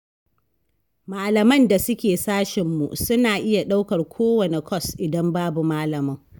Malaman da suke sashenmu suna iya ɗaukar kowanne kwas, idan babu malamin.